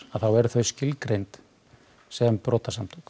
þá eru þau skilgreind sem brotasamtök